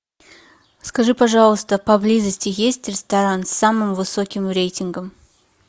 скажи пожалуйста поблизости есть ресторан с самым высоким рейтингом